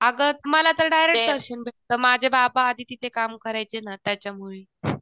अगं मला तर डायरेक्ट दर्शन भेटतं, माझे बाबा आधी तिथे काम करायचे ना त्याच्यामुळे.